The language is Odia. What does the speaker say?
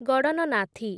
ଗଡନନାଥୀ